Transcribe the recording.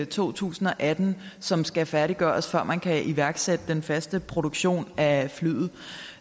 to tusind og atten som skal færdiggøres før man kan iværksætte den faste produktion af flyet